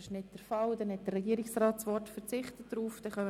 Der Regierungsrat verzichtet auf das Wort.